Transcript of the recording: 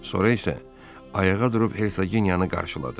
Sonra isə ayağa durub Hersoginyanı qarşıladı.